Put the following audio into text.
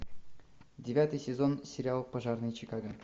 девятый сезон сериал пожарные чикаго